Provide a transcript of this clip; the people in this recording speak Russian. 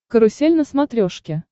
карусель на смотрешке